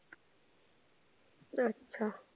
अच्छा.